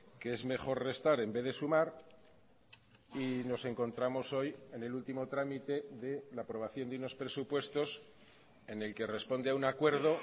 que es mejor restar en vez de sumar y nos encontramos hoy en el último trámite de la aprobación de unos presupuestos en el que responde a un acuerdo